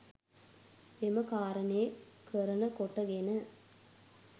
එම කාරණය කරණ කොට ගෙන